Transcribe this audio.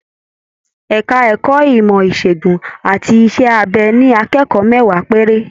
Ẹka ẹ̀kọ́ ìmọ ìsègùn àti iṣẹ abẹ ní akẹ́kọ̀ọ́ mẹwa péré.